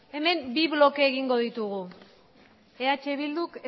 hemen bi bloke egingo ditugu eh bilduk